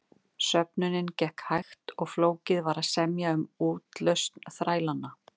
Söfnunin gekk hægt og flókið var að semja um útlausn þrælanna.